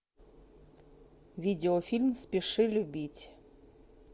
видеофильм спеши любить